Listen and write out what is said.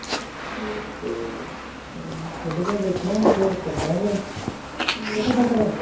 ਤੇ ਕੱਢ ਦੇ ਵੇਖਣਾ ਫੇਰ ਕੱਡਾਗਾ ਕੇ ਪਤਾ ਕਰਾਂ